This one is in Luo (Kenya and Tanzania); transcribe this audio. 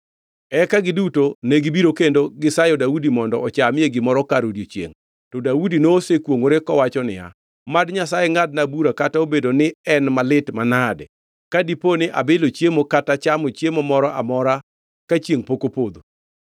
Eka giduto negibiro kendo gisayo Daudi mondo ochamie gimoro kar odiechiengʼ, to Daudi nosekwongʼore kowacho niya, “Mad Nyasaye ngʼadna bura kata obedo ni en malit manade ka dipo ni abilo chiemo kata chamo chiemo moro amora ka chiengʼ pok opodho.”